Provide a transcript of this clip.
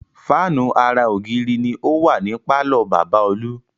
Fáànù ara ògiri ni ó wà ní pàlọ́ bàbá Olú